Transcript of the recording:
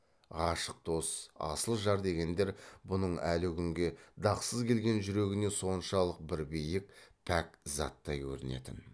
ғашық дос асыл жар дегендер бұның әлі күнге дақсыз келген жүрегіне соншалық бір биік пәк заттай көрінетін